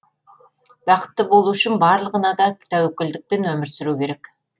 бақытты болу үшін барлығына да тәуекелдікпен өмір сүру керек